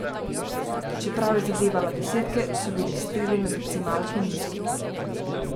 Čeprav je zadevala desetke, so bili streli na decimalke nizki.